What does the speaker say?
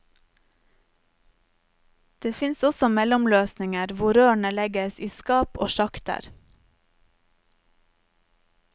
Det fins også mellomløsninger hvor rørene legges i skap og sjakter.